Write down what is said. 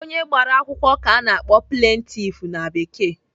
Onye gbara akwụkwọ ka a na-akpọ "plaintiff" na Bekee.